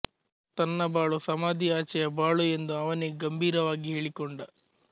ತನ್ನ ಬಾಳು ಸಮಾಧಿಯಾಚೆಯ ಬಾಳು ಎಂದು ಅವನೇ ಗಂಭೀರವಾಗಿ ಹೇಳಿಕೊಂಡ